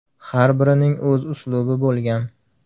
Har birining o‘z uslubi bo‘lgan.